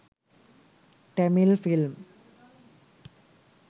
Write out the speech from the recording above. tamil film